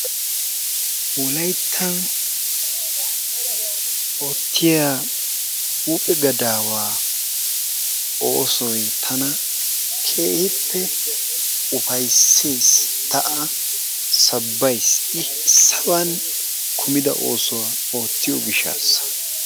Wolayttan oottiya huuphe gadaawa oosoy tana keehippe ufayssees ta A sabbays I saban kumida oosuwa oottiyo gishshassa.